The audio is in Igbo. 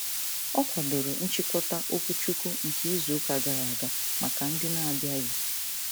Ọ kwadoro nchịkọta okwuchukwu nke izuụka gara aga maka ndị n'abịaghị.